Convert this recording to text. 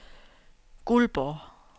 Guldborg